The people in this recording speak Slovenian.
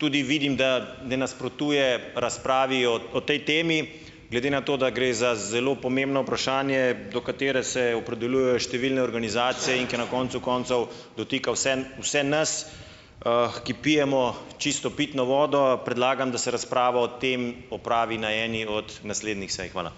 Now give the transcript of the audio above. Tudi vidim, da ne nasprotuje razpravi o, o tej temi. Glede na to, da gre za zelo pomembno vprašanje, do katere se opredeljujejo številne organizacije in ki je na koncu koncev dotika vseeno vse nas, ki pijemo čisto pitno vodo. Predlagam, da se razprava o tem opravi na eni od naslednjih sej. Hvala.